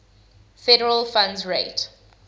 federal funds rate